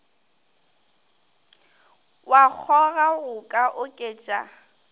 wa kgoga go ka oketša